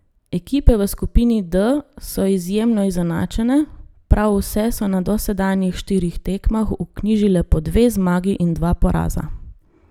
Ekipe v skupini D so izjemno izenačene, prav vse so na dosedanjih štirih tekmah vknjižile po dve zmagi in dva poraza.